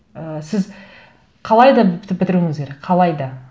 і сіз қалай да бітіруіңіз керек қалай да